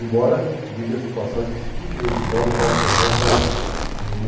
Embora diga-se passagem que se fique registrado, eu falo por trás e falo na frente.